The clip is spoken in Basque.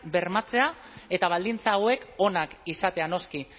bermatzea eta baldintza hauek onak izatea noski